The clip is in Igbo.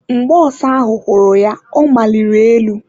Mgbe ọsa ahụ hụrụ ya, ọ maliri elu.